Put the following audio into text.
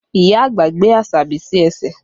Ìyá àgbà gbé Asabi sí ẹsẹ̀